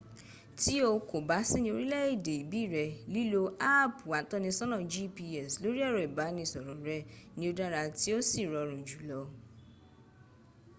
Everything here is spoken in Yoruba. tí o kò bá sí ní orílẹ̀ èdè ìbí rẹ̀ lílo áàpu atọ́nisọ́nà gps lórí ẹ̀rọ ìbánisọ̀rọ̀ rẹ ni ó dára tí ó sì rọrùn jùlọ